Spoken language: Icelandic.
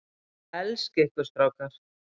Elska ykkur strákar.